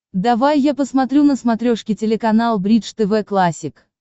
давай я посмотрю на смотрешке телеканал бридж тв классик